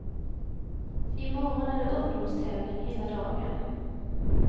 I morgon är det ungdomstävling hela dagen.